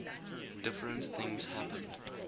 different things happened